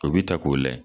O bi ta k'o layɛ